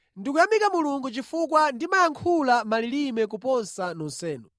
Ndikuyamika Mulungu chifukwa ndimayankhula malilime kuposa nonsenu.